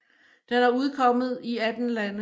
Den er udkommet i 18 lande